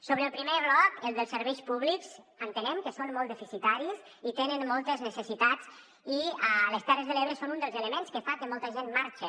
sobre el primer bloc el dels serveis públics entenem que són molt deficitaris i tenen moltes necessitats i a les terres de l’ebre són un dels elements que fa que molta gent marxe